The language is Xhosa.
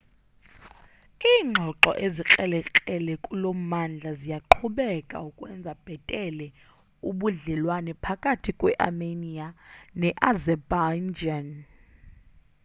ingxoxo ezikrelekrele kulommandla ziyaqhubeka ukwenza bhetele ubudlelwane phakathi kwe armenia ne azerbaijan